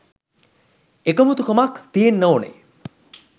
එකමුතුකමක් තියෙන්න ඕනේ.